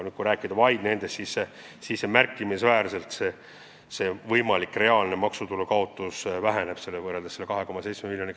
Kui rääkida vaid eelnimetatud laevadest, siis võimalik reaalne maksutulu kaotus on märksa väiksem kui see 2,7 miljonit.